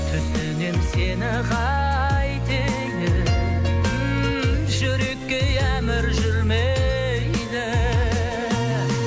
түсінем сені қайтейін м жүрекке ей әмір жүрмейді